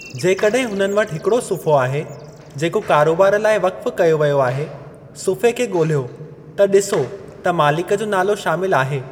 जेकॾहिं उन्हनि वटि हिकड़ो सुफ़्हो आहे जेको कारोबार लाइ वक़्फ़ कयो वियो आहे, सुफ़्हे खे ॻोलियो त ॾिसो त मालिक जो नालो शामिलु आहे ।